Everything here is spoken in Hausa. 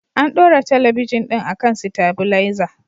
An ɗora talabijin ɗin akan sitabilaiza